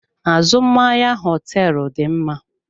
Azụmahịa hoteelu dị mma.